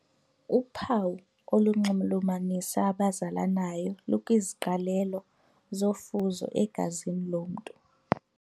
Uphawu olunxulumanisa abazalanayo lukwiziqalelo zofuzo egazini lomntu.